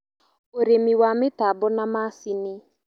ũrĩmi wa mĩtambo na macini